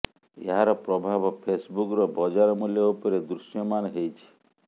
ଏହାର ପ୍ରଭାବ ଫେସବୁକ୍ର ବଜାର ମୂଲ୍ୟ ଉପରେ ଦୃଶ୍ୟମାନ ହେଇଛି